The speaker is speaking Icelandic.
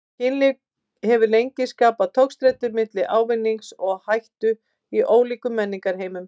Kynlíf hefur lengi skapað togstreitu milli ávinnings og áhættu í ólíkum menningarheimum.